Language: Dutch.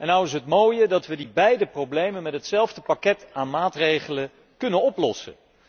Nou is het mooie dat we die beide problemen met hetzelfde pakket aan maatregelen kunnen oplossen.